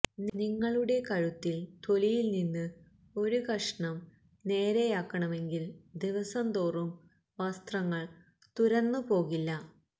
നിങ്ങളുടെ കഴുത്തിൽ തൊലിയിൽ നിന്ന് ഒരു കഷണം നേരെയാക്കണമെങ്കിൽ ദിവസം തോറും വസ്ത്രങ്ങൾ തുരന്നു പോകില്ല